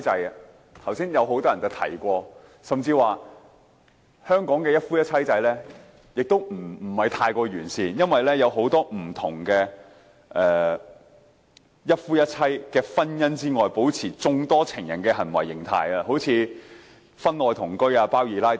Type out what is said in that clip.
很多議員剛才也有提及，甚至表示香港的一夫一妻制其實並不太完善，因為很多人也是在一夫一妻制的婚姻外，保持擁有眾多情人的行為形態，例如婚外同居和"包二奶"等。